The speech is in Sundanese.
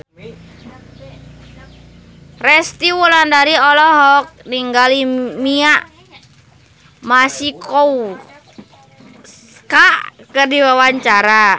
Resty Wulandari olohok ningali Mia Masikowska keur diwawancara